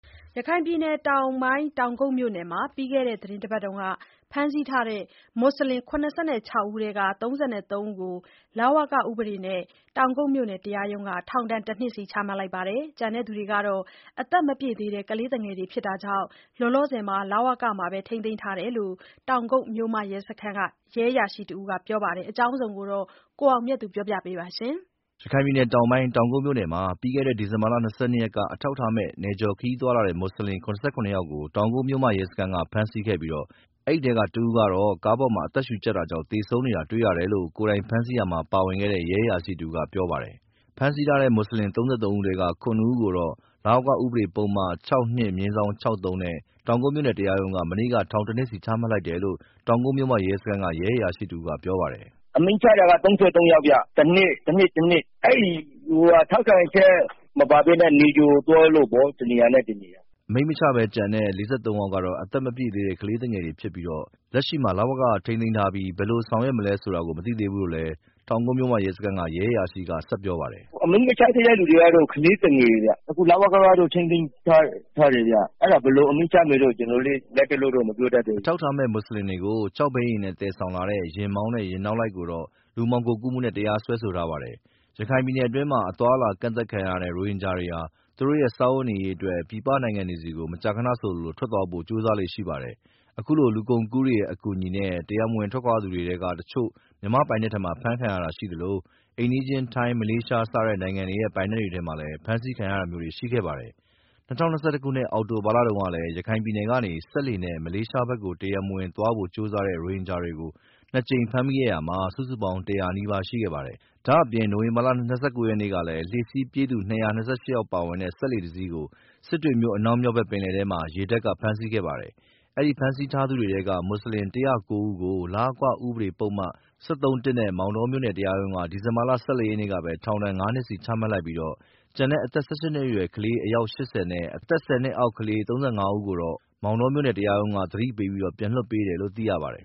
ရခိုင်ပြည်နယ်တောင်ပိုင်း တောင်ကုတ်မြို့နယ်မှာ ပြီးခဲ့တဲ့ တပတ်လောက်က ဖမ်းဆီးထားတဲ့မွတ်ဆလင် ၇၆ ဦးထဲက ၃၃ ယောက်ကို လဝကဥပဒေနဲ့ တောင်ကုတ်မြို့နယ် တရားရုံးက ထောင်ဒဏ် တနှစ်စီချမှတ်လိုက်ပါတယ်။ ကျန်တဲ့သူတွေကတော့ အသက်မပြည့်သေးတဲ့ကလေးသူငယ်တွေဖြစ်တာကြောင့် လောလောဆယ် မှာ လဝက-က ထိန်းသိန်းထားတယ်လို့ တောင်ကုတ်မြို့မရဲစခန်းက ရဲအရာရှိတဦးကပြောပါတယ်။ ဒီအကြောင်း သတင်းပေးပို့ထားတာကို ကိုအောင်မြတ်သူက တင်ပြပေးထားပါတယ်။ ရခိုင်ပြည်နယ်တောင်ပိုင်း တောင်ကုတ်မြို့နယ်မှာ ပြီးခဲ့တဲ့ဒီဇင်ဘာလ ၂၂ ရက်နေ့ က အထောက်အထားမဲ့ နယ်ကျော်ခရီးသွားလာတဲ့ မွတ်ဆလင် ၇၇ ယောက်ကို တောင်ကုတ်မြို့မရဲစခန်းက ဖမ်းဆီးခဲ့ပြီး အဲဒီထဲကတဦးကတော့ ကားပေါ်မှာ အသက်ရှုကြပ်တာကြောင့် သေဆုံးနေတာတွေ့ရတယ်လို့ ကိုယ်တိုင်ဖမ်းဆီးရာမှာ ပါဝင်တဲ့ ရဲအရာရှိတဦးက ပြောပြပါတယ်။ ဖမ်းဆီးထားတဲ့ မွတ်ဆလင် ၇ ဦးထဲက ၃၃ ဦးကို လဝက ဥပဒေပုဒ်မ ၆ (၂)၊ ၆ (၃) နဲ့ တောင်ကုတ်မြို့နယ်တရားရုံးက မနေ့က ထောင်ဒဏ်တနှစ်စီ အမိန့်ချလိုက် တယ်လို့ တောင်ကုတ်မြို့မရဲစခန်းက ရဲအရာရှိတဦးကပြောပါတယ်။ “အမိန့်ချတာက ၃၃ ယောက်ဗျာ တနှစ်ချလိုက်တာ။ ထောက်ခံချက်မပါဘဲနဲ့ နယ်ကျော်သွားလို့ပေါ့။ တနေရာနဲ့ တနေရာ။” အမိန့်မချဘဲ ကျန်တဲ့ ၄၃ ယောက်ကတော့ အသက်မပြည့်သေးတဲ့ ကလေးသူငယ် တွေ ဖြစ်ပြီး လက်ရှိမှာ လဝကမှာပဲ ထိန်းသိမ်းထားပြီး ဘယ်လိုဆောင်ရွက်မယ်ဆိုတာကို မသိသေးဘူးလို့လည်း တောင်ကုတ်မြို့မ ရဲစခန်းက ရဲအရာရှိက ဆက်ပြောပါတယ်။ “အမိန့်မချသေးတဲ့သူတွေကတော့ ကလေးသူငယ်တွေဗျ။ အခု လဝကကတော့ ထိန်းသိမ်းထားတယ်။ အဲဒါ ဘယ်လိုအမိန့်ချမလဲတော့ ကျနော်တို့လည်း လတ်တလောတော့ မပြောတတ်သေးဘူး။” အထောက်အထားမဲ့ မွတ်ဆလင်တွေကို ခြောက်ဘီးယာဉ်နဲ့ သယ်ဆောင်လာတဲ့ ယာဉ်မောင်းနဲ့ ယာဉ်နောက်လိုက်ကိုတော့ လူမှောင်ခိုကူးမှုနဲ့ တရားစွဲဆိုထားပါတယ်။ ရခိုင်ပြည်နယ်အတွင်းမှာ အသွားအလာ ကန့်သတ်ခံထားရတဲ့ ရိုဟင်ဂျာတွေဟာ သူတို့ရဲ့ စားဝတ်နေရေးအတွက် ပြည်ပနိုင်ငံတွေကို မကြာခဏဆိုသလို ထွက် သွားဖို့ ကြိုးစားလေ့ရှိပါတယ်။ အခုလို လူကုန်ကူးတွေရဲ့ အကူအညီနဲ့ တရားမဝင် သွားကြသူတွေထဲကတချို့ မြန်မာ့ပိုင်နက်ထဲမှာ ဖမ်းဆီးခံရတာရှိသလို အိမ်နီးချင်း ထိုင်း၊ မလေးရှား စတဲ့နိုင်ငံတွေရဲ့ ပိုင်နက်တွေထဲမှာ ဖမ်းဆီးခံရတာမျိုးတွေလည်း ရှိခဲ့ပါတယ်။ ၂၀၂၁ ခုနှစ်၊ အောက်တိုဘာလတုန်းကလည်း ရခိုင်ပြည်နယ်ကနေ စက်လှေနဲ့ မလေးရှားဘက် တရားမဝင်သွားဖို့ ကြိုးစားတဲ့ ရိုဟင်ဂျာတွေကို နှစ်ကြိမ် ဖမ်းမိခဲ့တာ စုစုပေါင်း ၁၀၀ နီးပါးရှိခဲ့ပါတယ်။ ဒါအပြင့် နိုဝင်ဘာလ ၂၉ ရက်နေ့ကလည်း လှေစီးပြေးသူ ၂၂၈ ယောက်ပါတဲ့ စက်လှေတစီးကို စစ်တွေမြို့ အနောက်မြောက်ဘက် ပင်လယ်ထဲမှာ ရေတပ်က ဖမ်းဆီးခဲ့ပါတယ်။ အဲဒီဖမ်းဆီးထားသူတွေထဲက မွတ်ဆလင် ၁၀၉ ဦးကို လဝက ဥပဒေပုဒ်မ ၁၃-၁ နဲ့ မောင်တောမြို့နယ် တရားရုံးက ဒီဇင်ဘာလ ၁၄ ရက်နေ့ကပဲ ထောင်ဒဏ် ငါးနှစ်စီ ချမှတ်လိုက်ပြီး၊ ကျန်တဲ့ အသက် ၁၈ နှစ်အောက်ကလေး အယောက် ၈၀ နဲ့ အသက် ၁၀ နှစ်အောက် ကလေး ၃၅ ဦးကိုတော့ မောင်တောမြို့နယ် တရားရုံးက သတိပေးပြီး ပြန်လွှတ်ပေးတယ်လို့ သိရပါတယ်